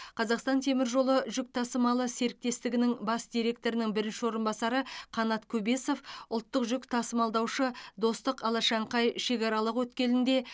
қазақстан темір жолы жүк тасымалы серіктестігінің бас директорының бірінші орынбасары қанат көбесов ұлттық жүк тасымалдаушы достық алашаңқай шекаралық өткелінде